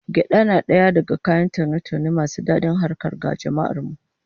Gyada na daga kayan taune-taune masu dadin harkar ga jama'ar mu